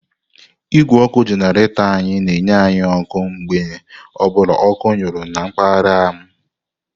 Igwé ọkụ jenaretór anyị na-enye anyị ọkụ mgbe ọ bụla ọkụ nyuru na mpaghara m.